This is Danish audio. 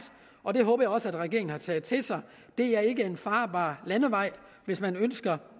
og det håber jeg også regeringen har taget til sig det er ikke en farbar landevej hvis man ønsker